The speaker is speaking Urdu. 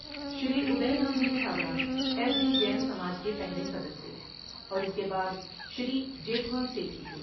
شری ادے رام جی چھابڑا ایس ڈی جین سماج کے پہلے صدر تھے اور اس کے بعد شری جیٹھمل سیٹھی تھے۔